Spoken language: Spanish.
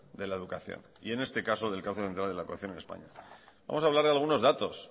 de la educación y en este caso del cauce central de la educación en españa vamos a hablar de algunos datos